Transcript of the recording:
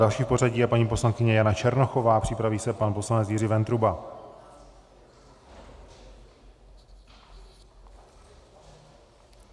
Další v pořadí je paní poslankyně Jana Černochová, připraví se pan poslanec Jiří Ventruba.